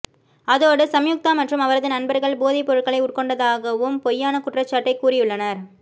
அதோடு சம்யுக்தா மற்றும் அவரது நண்பர்கள் போதை பொருட்களை உட்கொண்டதாகவும் பொய்யான குற்றச்சாட்டை கூறியுள்ளனர்